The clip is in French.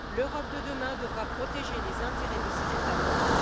L'Europe de demain devra protéger les intérêts de ses États membres.